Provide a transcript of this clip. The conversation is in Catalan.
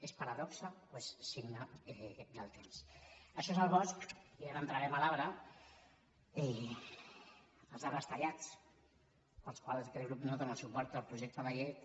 és paradoxa o és signe del temps això és el bosc i ara entrarem a l’arbre els arbres tallats pels quals aquest grup no dóna suport al projecte de llei